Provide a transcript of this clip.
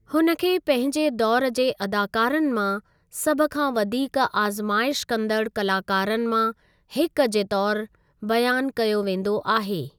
हुन खे पंहिंजे दौर जे अदाकारनि मां सभु खां वधीक आज़माइश कंदड़ु कलाकारनि मां हिक जे तौरु बयानु कयो वेंदो आहे।